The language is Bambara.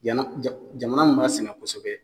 Jana jamana min b'a sɛnɛ kosɛbɛ